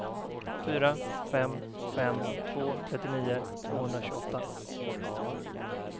fyra fem fem två trettionio tvåhundratjugoåtta